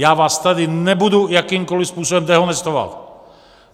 Já vás tady nebudu jakýmkoliv způsobem dehonestovat.